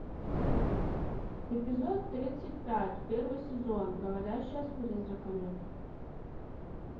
эпизод тридцать пять первый сезон говорящая с призраками